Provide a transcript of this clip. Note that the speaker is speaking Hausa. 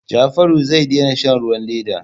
Jafaru zai daina shan ruwan leda.